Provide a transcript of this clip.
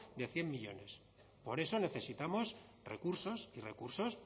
de cien millónes por eso necesitamos recursos y recursos